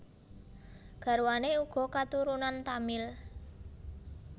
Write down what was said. Garwané uga katurunan Tamil